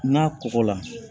N'a kɔgɔla